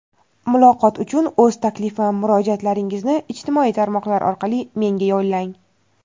Muloqot uchun o‘z taklif va murojaatlaringizni ijtimoiy tarmoqlar orqali menga yo‘llang.